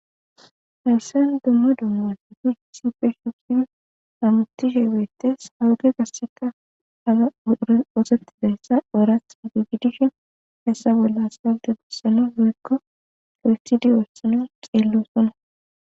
Hesan dumma dummasati sife shugi hamutishe beettes hawuge gasseka aga wosettidayssa oorath mugugidishin hessa bolla salte gussano hoykko kirstidi wossano xeellosona.